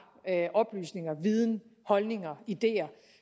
oplysninger viden holdninger ideer